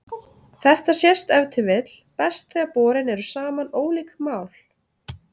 Þetta sést ef til vill best þegar borin eru saman ólík mál.